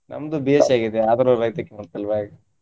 ನಮ್ದು B.Sc ಆಗಿದೆ ಆದ್ರು ರೈತೆಕಿ ಮಾಡ್ತಿಲ್ವಾ ಹಾಗೆ.